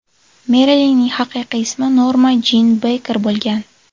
Merilinning haqiqiy ismi Norma Jin Beyker bo‘lgan.